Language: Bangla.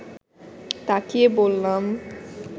তাকিয়ে বললাম